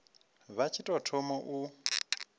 vha tshi tou thoma u